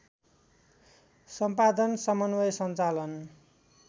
सम्पादन समन्वय सञ्चालन